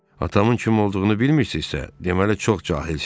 Atamın kim olduğunu bilmirsinizsə, deməli çox cahilsiz.